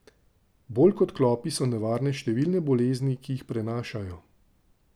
Bolj kot klopi so nevarne številne bolezni, ki jih prenašajo.